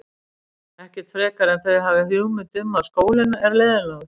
Ekkert frekar en þau hafa hugmynd um að skólinn er leiðinlegur.